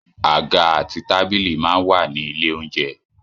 Àga àti tábìlì máa ń wà ní ilé óúnjẹ